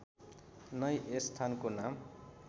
नै यस स्थानको नाम